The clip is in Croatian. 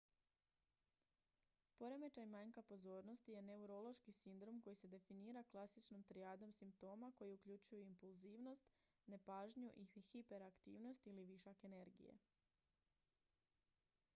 "poremećaj manjka pozornosti "je neurološki sindrom koji se definira klasičnom trijadom simptoma koji uključuju impulzivnost nepažnju i hiperaktivnost ili višak energije.""